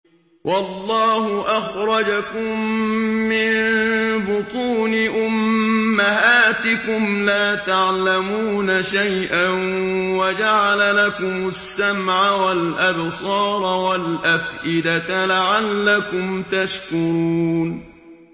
وَاللَّهُ أَخْرَجَكُم مِّن بُطُونِ أُمَّهَاتِكُمْ لَا تَعْلَمُونَ شَيْئًا وَجَعَلَ لَكُمُ السَّمْعَ وَالْأَبْصَارَ وَالْأَفْئِدَةَ ۙ لَعَلَّكُمْ تَشْكُرُونَ